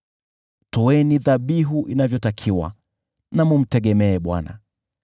Toeni dhabihu zilizo haki; mtegemeeni Bwana .